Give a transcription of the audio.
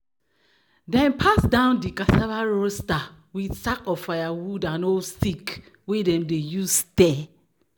"dem pass down di cassava roaster with sack of firewood and old stick wey dem dey use stir."